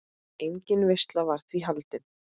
Engin veisla var því haldin.